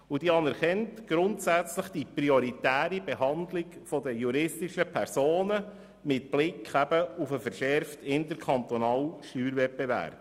Sie anerkennt grundsätzlich die prioritäre Behandlung der juristischen Personen mit Blick auf den verschärften interkantonalen Steuerwettbewerb.